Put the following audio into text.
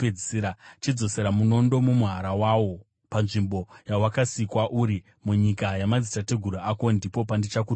Chidzosera munondo mumuhara wawo. Panzvimbo yawakasikwa uri, munyika yamadzitateguru ako, ndipo pandichakutongera.